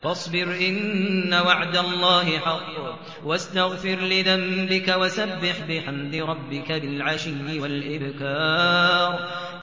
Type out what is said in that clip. فَاصْبِرْ إِنَّ وَعْدَ اللَّهِ حَقٌّ وَاسْتَغْفِرْ لِذَنبِكَ وَسَبِّحْ بِحَمْدِ رَبِّكَ بِالْعَشِيِّ وَالْإِبْكَارِ